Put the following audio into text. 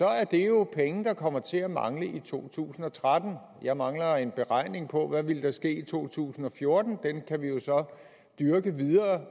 er det jo penge der kommer til at mangle i to tusind og tretten jeg mangler en beregning på hvad der ville ske i to tusind og fjorten den kan vi jo så dyrke